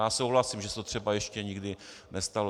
Já souhlasím, že se to třeba ještě nikdy nestalo.